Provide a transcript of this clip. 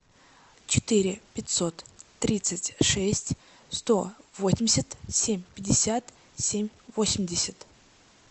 четыре пятьсот тридцать шесть сто восемьдесят семь пятьдесят семь восемьдесят